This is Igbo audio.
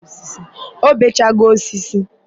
ọ bee chago osisi.